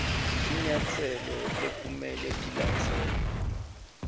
tinyatselo lekumele tilandzelwe